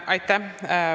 Aitäh!